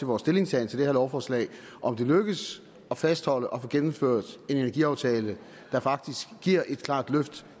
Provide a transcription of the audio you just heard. vores stillingtagen til det her lovforslag om det lykkes at fastholde og få gennemført en energiaftale der faktisk giver et klart løft